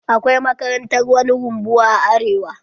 Akwai makarantar wani rumbuwa a arewa?